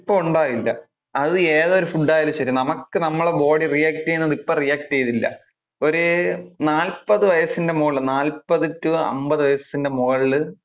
ഇപ്പോ ഉണ്ടകില്ല. അത് ഏതൊരു food ആയാലും ശെരി നമുക്ക് നമ്മുടെ body react ചെയുന്നത് ഇപ്പോ react ചെയ്യില്ല. അത് ഒരു നാൽപതു വയസ്സിന്റെ മുകളില് നാൽപതു to അമ്പതു വയസ്സിന്റെ മുകളില്